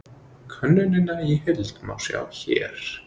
Könnunina í heild má sjá hér